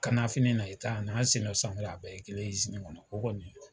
Kan na fini na i ta a n'a sen na samara bɛɛ ye kelen ye ɲɔgɔn na, o kɔni .